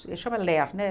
Ele chama LER, né?